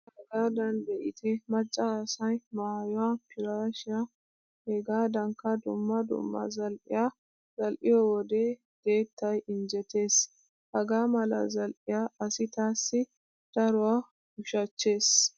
Ane hagaadan be'ite macca asay maayuwa piraashiya hegaadankka dumma dumma zal"iya za"iyo wode deettay injjetees. Hagaa mala zal"iya asi taassi daruwa ushachchees.